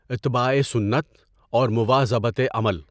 اتباعِ سنت اور مُواظَبَتِ عمل